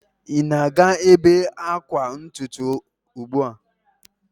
Ị na-aga ebe akwa ntutu ugbu a?